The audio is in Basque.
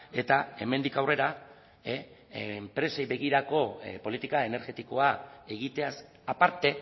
eta hemendik aurrera enpresei begirako politika energetikoa egiteaz aparte